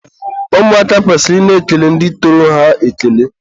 ụmụaka kwesịrị ị na-ekele ndị tọrọ ha ekele.